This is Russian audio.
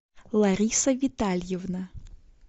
лариса витальевна